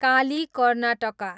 Kali, Karnataka